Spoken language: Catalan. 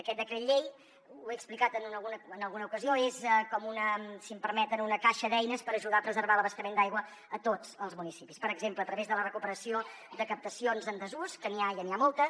aquest decret llei ho he explicat en alguna ocasió és com una si m’ho permeten caixa d’eines per ajudar a preservar l’abastament d’aigua a tots els municipis per exemple a través de la recuperació de captacions en desús que n’hi ha i n’hi ha moltes